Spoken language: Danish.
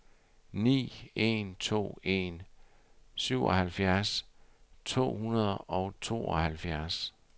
ni en to en syvoghalvfjerds to hundrede og tooghalvfjerds